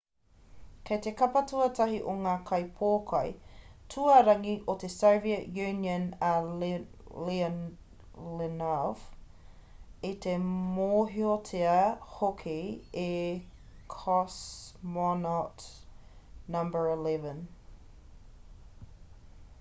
kei te kapa tuatahi o ngā kaipōkai tuarangi o te soviet union a leonov i te mōhiotia hoki e cosmonaut no.11